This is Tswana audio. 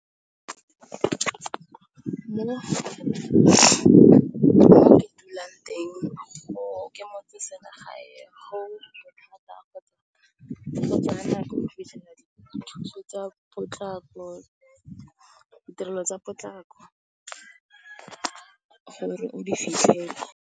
Mo ke dulang teng, ke motseselegae go thata go tsamaya, go tsaya nako go fitlhelela dithuso tsa potlako, ditirelo tsa potlako gore o di fitlhelele.